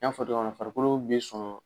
N y'a fɔ cogoya min na farikolo bɛ sɔn